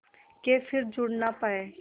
के फिर जुड़ ना पाया